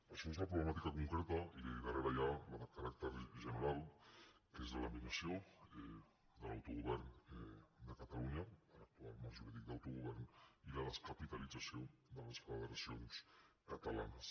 això és la pro·blemàtica concreta i darrere hi ha la de caràcter gene·ral que és la laminació de l’autogovern de catalunya de l’actual marc jurídic d’autogovern i la descapitalit·zació de les federacions catalanes